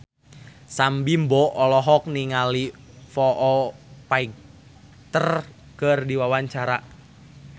Sam Bimbo olohok ningali Foo Fighter keur diwawancara